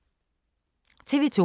TV 2